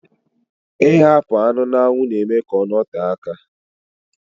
Ighakpo anụ na-anwu na-eme ka ọ note aka